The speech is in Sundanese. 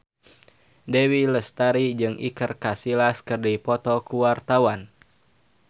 Dewi Lestari jeung Iker Casillas keur dipoto ku wartawan